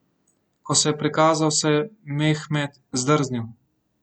Ko se je prikazal, se je Mehmed zdrznil.